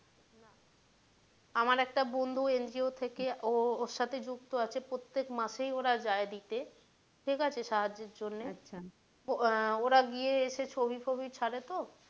আমার একটা বন্ধু NGO থেকে ও ওর সাথে যুক্ত আছে প্রত্যেক মাসেই ওরা যায় দিতে ঠিক আছে সাহায্যের জন্যে আহ ওরা গিয়ে সেই ছবি টবি ছাড়ে তো,